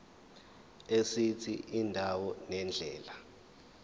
esithi indawo nendlela